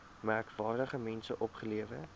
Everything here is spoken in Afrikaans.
merkwaardige mense opgelewer